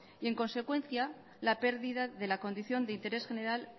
y en consecuencia la pérdida de la condición de interés general